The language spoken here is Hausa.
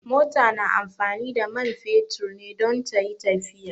Mota na amfani da man fetur ne don tayi tafiya